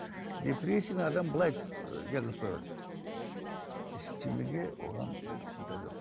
депрессияны адам былай ы диагноз қоя алады ештеңеге оған андай жоқ